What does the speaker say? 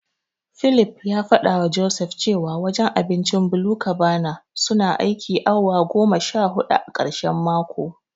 Philip ya fadawa Joseph cewa wajen abincin BluCabana suna aikin awa goma sha hudu a karshen mako.